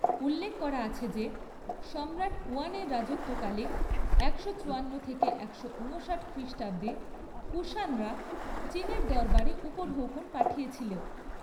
উল্লেখ করা আছে যে, সম্রাট হুয়ানের রাজত্বকালে একশো চুয়ান্ন থেকে একশো উনষাট খ্রিষ্টাব্দে কুষাণরা চীনের দরবারে উপঢৌকন পাঠিয়েছিল।